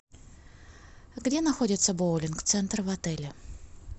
где находится боулинг центр в отеле